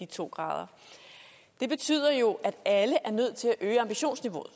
to grader det betyder jo at alle er nødt til at øge ambitionsniveauet